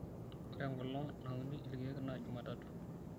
ore enkolong' nauni ilkeek naa jumatatu